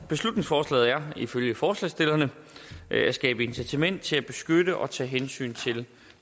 beslutningsforslaget er ifølge forslagsstillerne at skabe incitament til at beskytte og tage hensyn til